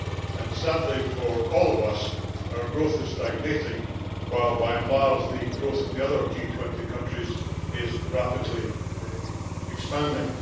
And, sadly for all of us, our growth is stagnating while by and large the growth of the other G20 countries is rapidly expanding.